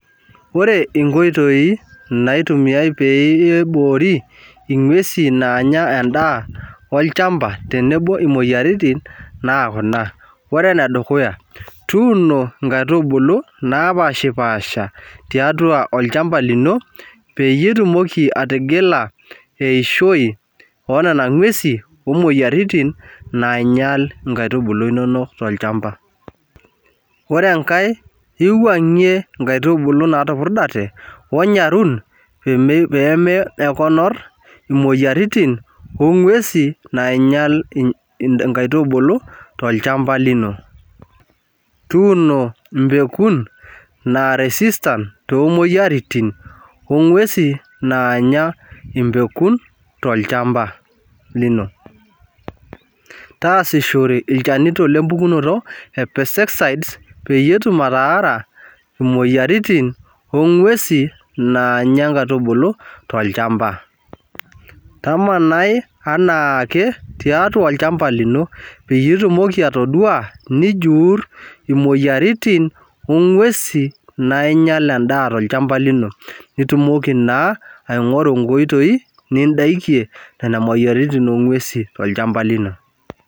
Wore inkoitoi, naitumiyai pee ibori inguesin naanya endaa olchamba tenebo imoyiaritin, kuna, wore ene dukuya. Tuuno inkaitubulu napashpaasha tiatua olchamba lino peyie itumoki atigila eishoi ooniana ngwesin, oomoyiaritin nainyial inkaitubulu inonok tolchamba. Wore enkae, iwuangie inkaitubulu naatupurdate, onyarun peeme konor imoyiaritin oongwesin nainyial inkaitubulu tolchamba lino. Tuuno imbekun naara, resistance toomoyiaritin ongwesin naanya imbekun tolchamba lino. Taasishore ilchanito lempukunoto e pesticide, peyie etum ataara imoyiaritin, oongwesin naanya inkaitubulu tolchamba. Tamanai enaake tiatua olchamba lino, peyie itumoki atadua nijurr imoyiaritin oongwesin nainyial endaa tolchamba lino. Piitumoki naa aingorru inkoitoi nindakie niana moyiaritin ongwesin tolchamba lino.